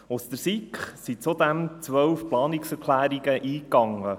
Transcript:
Zudem gingen seitens der SiK 12 Planungserklärungen eingegangen.